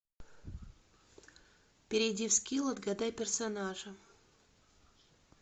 перейди в скилл отгадай персонажа